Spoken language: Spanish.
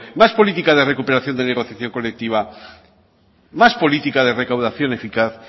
más política de recuperación de negociación colectiva más política de recaudación eficaz